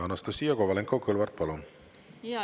Anastassia Kovalenko-Kõlvart, palun!